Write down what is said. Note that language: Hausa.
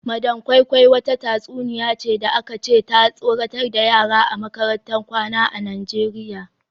Madam koi koi wata tatsuniya ce da aka ce ta tsoratar da yara a makarantar kwana a Najeriya